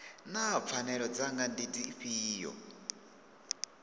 naa pfanelo dzanga ndi dzifhio